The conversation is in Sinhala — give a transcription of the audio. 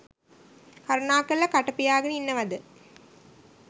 අනේ මහත්තයෝ කරුණාකරලා කට පියාගෙන ඉන්නවද.